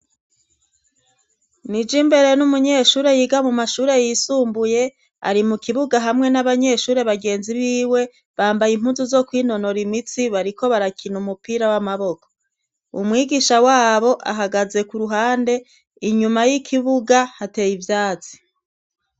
Nijimbere n'umunyeshure yiga mu mashure yisumbuye, ari mu kibuga hamwe n'abanyeshuri bagenzi biwe bambaye impuzu zo kwinonora imitsi bariko barakina umupira w'amaboko. Umwigisha wabo ahagaze ku ruhande, inyuma y'ikibuga hateye ivyatsi.